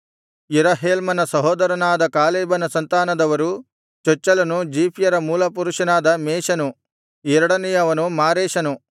ಯೆರಹೇಲ್ಮನ ಸಹೋದರನಾದ ಕಾಲೇಬನ ಸಂತಾನದವರು ಚೊಚ್ಚಲನು ಜೀಫ್ಯರ ಮೂಲಪುರುಷನಾದ ಮೇಷನು ಎರಡನೆಯವನು ಮಾರೇಷನು